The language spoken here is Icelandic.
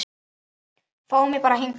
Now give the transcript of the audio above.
Fá mig bara hingað.